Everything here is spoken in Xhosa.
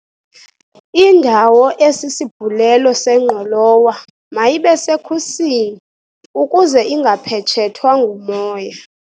Indawo esisibhulelo sengqolowa mayibe sekhusini ukuze ingaphetshethwa ngumoya.